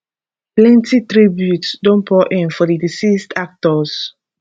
plenty tributes don pour in for di deceased actors